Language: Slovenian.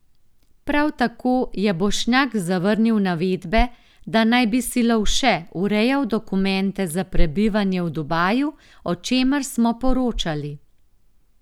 Prav tako je Bošnjak zavrnil navedbe, da naj bi si Lovše urejal dokumente za prebivanje v Dubaju, o čemer smo poročali.